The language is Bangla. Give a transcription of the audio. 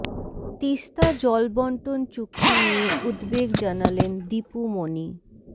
তিস্তা জল বন্টন চুক্তি নিয়ে উদ্বেগ জানালেন দীপু মনি